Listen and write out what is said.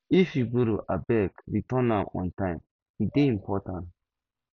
if you borrow abeg return am on time e dey important